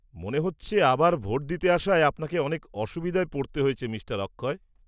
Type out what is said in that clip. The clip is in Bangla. -মনে হচ্ছে আবার ভোট দিতে আসায় আপনাকে অনেক অসুবিধায় পড়তে হয়েছে মিঃ অক্ষয়।